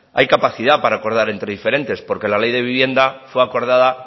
hay capacidad para acordar entre diferentes porque la ley de vivienda fue aprobada